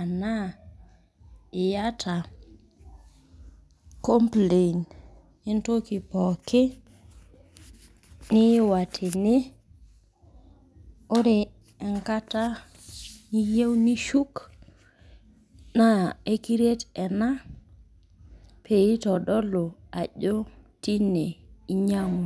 anaa iyata complain entoki pooki niiwa tene, ore enkata niyieu nishuk, naa ekiret ena peitodolu ajo tine inyang'ua.